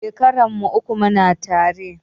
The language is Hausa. Shekarar mu uku muna tare